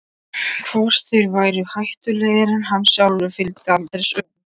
Hvort þeir væru hættulegri en hann sjálfur fylgdi aldrei sögunni.